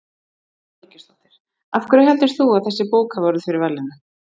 Brynja Þorgeirsdóttir: Af hverju heldur þú að þessi bók hafi orðið fyrir valinu?